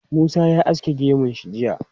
Musa ya aske gemun shi jiya.